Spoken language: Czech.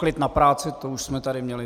Klid na práci, to už jsme tady měli.